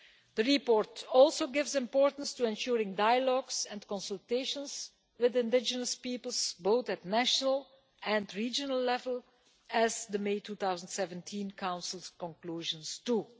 The report also attaches importance to ensuring dialogues and consultations with indigenous peoples, at both national and regional level, as the May 2017 Council conclusions note too.